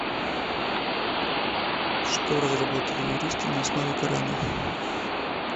что разработали юристы на основе корана